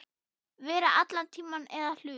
Vera allan tímann eða hluta.